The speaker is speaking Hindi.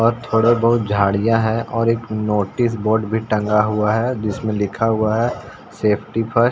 और थोड़े बहोत झाड़ियाँ हैं और एक नोटिस बोर्ड भी टंगा हुआ है जिसमें लिखा हुआ है सेफ्टी फर्स्ट --